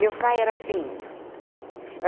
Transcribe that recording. Meu pai era feinho.